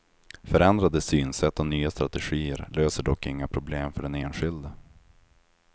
Förändrade synsätt och nya strategier löser dock inga problem för den enskilde.